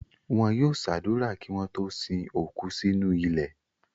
Wọn yóò ṣàdúrà kí wọ́n tó sin òkú sínú ilẹ̀.